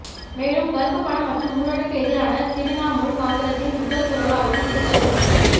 மேலும் கறுப்புப் பணம் மற்றும் ஊழலுக்கு எதிரான திரிணாமுல் காங்கிரசின் முதல் குரலாகவும் இது கருதப்படுகிறது